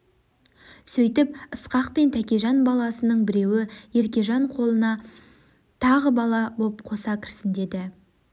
сөйгіп ысқақпен тәкежан баласының біреуі еркежан қолына тағы бала боп қоса кірсін деді